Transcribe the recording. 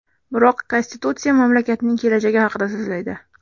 Biroq konstitutsiya mamlakatning kelajagi haqida so‘zlaydi.